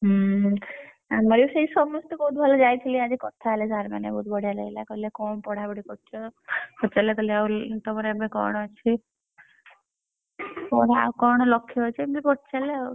ହୁଁ ଆମର ବି ସେଇ ସମସ୍ତେ ବହୁତ ଭଲ ଯାଇଥିଲି ଆଜି କଥା ହେଲେ sir ମାନେ ବହୁତ ବଢିଆ ଲାଗିଲା କହିଲେ କଣ ପଢାପଢି କରୁଛ ପଚାରିଲେ କହିଲେ ତମର ଏବେ କଣ ଅଛି? କଣ ଆଉ କଣ ଲକ୍ଷ ଅଛି ଏମିତି ପଚାରିଲେ ଆଉ।